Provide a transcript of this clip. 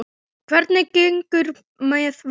Hvernig gengur með Vask?